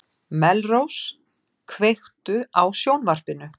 Melrós, kveiktu á sjónvarpinu.